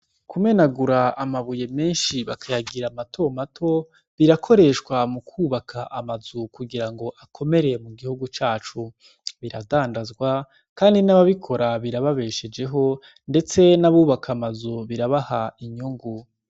Kume nagura amabuye menshi bakayagira mato mato birakoreshwa mu kwubaka amazu kugira ngo akomereye mu gihugu cacu biradandazwa, kandi n'ababikora birababeshejeho, ndetse n'abubaka amazu birabaha inyungu.